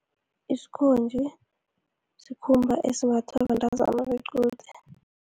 Isikhonji sikhumba esimbathwa bentazana bequde.